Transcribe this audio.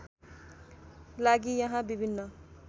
लागि यहाँ विभिन्न